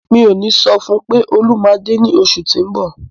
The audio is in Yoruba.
Mi ò ní sọ fún un pé Olú máa dé ní oṣù tí ń bọ̀.